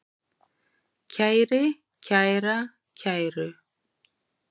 kæri, kæra, kæru